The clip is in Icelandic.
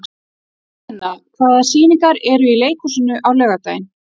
Guðna, hvaða sýningar eru í leikhúsinu á laugardaginn?